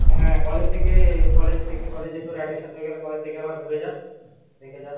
হ্যা college থেকে college থেকে college এ তোর admission হয়ে গেলে college থেকে একবার ঘুরে যা দেখে যা